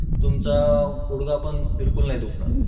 तुमचा गुडघा पण बिलकुल नाही दुखणार.